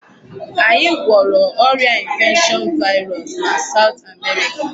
Anyị gwọrọ ọrịa infection virus na South America.